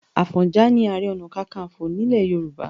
Àfọ̀njà ni Ààrẹ Ọ̀nà Kakaǹfò àkọ́kọ́ nílẹ̀ Yorùbá